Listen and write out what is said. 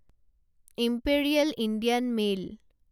imperial Indian mail